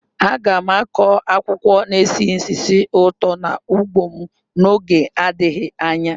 Aga m akụ akwụkwọ na-esi ísì ụtọ n'ugbo m n'oge adịghị anya.